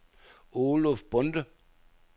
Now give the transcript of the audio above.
Oluf Bonde